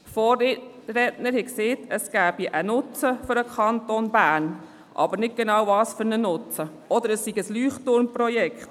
Vorredner haben gesagt, es gebe einen Nutzen für den Kanton Bern, aber ohne zu sagen, welchen Nutzen genau, und es sei ein Leuchtturmprojekt.